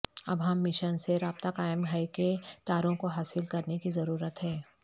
اب ہم مشین سے رابطہ قائم ہے کہ تاروں کو حاصل کرنے کی ضرورت ہے